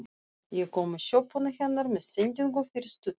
Ég kom í sjoppuna hennar með sendingu fyrir stuttu.